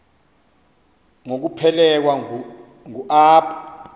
ngokuphelekwa ngu apho